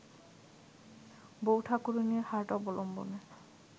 বউ ঠাকুরানীর হাট অবলম্বনে